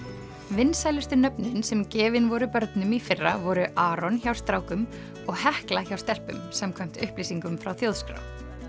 vinsælustu nöfnin sem gefin voru börnum í fyrra voru Aron hjá strákum og Hekla hjá stelpum samkvæmt upplýsingum frá Þjóðskrá